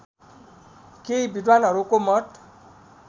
केही विद्वानहरूको मत